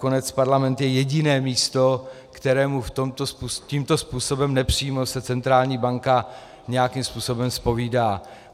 Nakonec parlament je jediné místo, kterému tímto způsobem nepřímo se centrální banka nějakým způsobem zpovídá.